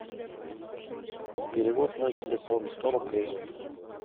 перевод мой телефон сто рублей